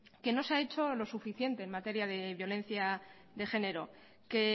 que no se ha hecho lo suficiente en materia de violencia de género que